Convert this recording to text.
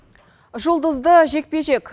жұлдызды жекпе жек